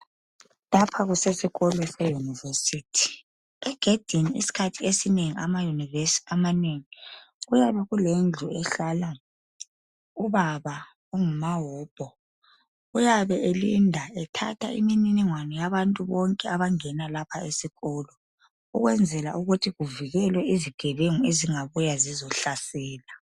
Lapha kusesikolo seyunivesithi egedini isikhathi esinengi amayunivesi amanengi kuyabe kelendlu ehlala ubaba ongumawobho uyabe elinda ethatha imininingwane yabantu bonke abangena lapha esikolo ukwenzela ukuthi kuvikelwe izigebengu ezingabuya zizohlasela.